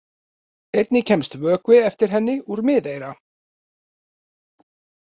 Einnig kemst vökvi eftir henni úr miðeyra.